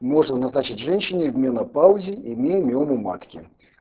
можно назначить женщине в менопаузе имея миому матки